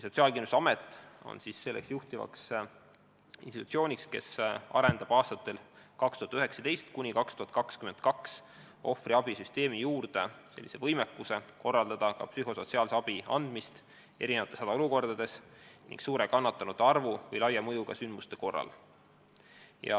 Sotsiaalkindlustusamet on juhtiv institutsioon, kes arendab aastatel 2019–2022 ohvriabisüsteemi juures välja võimekuse korraldada psühhosotsiaalse abi andmist erinevates hädaolukordades, sh suure kannatanute arvu või üldse laia mõjuga sündmuste korral.